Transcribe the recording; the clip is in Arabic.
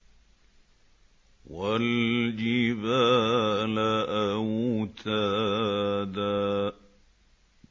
وَالْجِبَالَ أَوْتَادًا